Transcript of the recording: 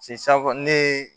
safɔ ne ye